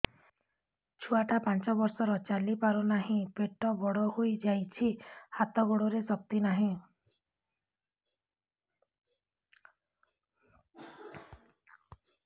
ଛୁଆଟା ପାଞ୍ଚ ବର୍ଷର ଚାଲି ପାରୁ ନାହି ପେଟ ବଡ଼ ହୋଇ ଯାଇଛି ହାତ ଗୋଡ଼ରେ ଶକ୍ତି ନାହିଁ